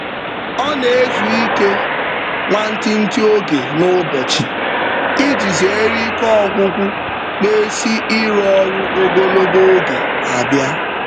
Ọ na-ezu ike nwantiti oge n'ụbọchị iji zeere ike ọgwụgwụ na-esi iru ọrụ ogologo oge abịa.